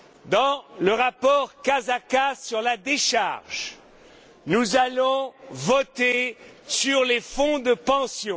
Dans le rapport Casaca sur la décharge, nous allons voter sur les fonds de pension.